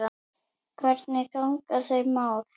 Hvernig ganga þau mál?